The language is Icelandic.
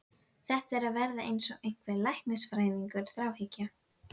Þetta er að verða eins og einhver læknisfræðileg þráhyggja.